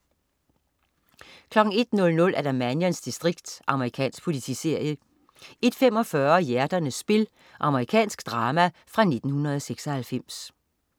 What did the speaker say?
01.00 Mannions distrikt. Amerikansk politiserie 01.45 Hjerternes spil. Amerikansk drama fra 1996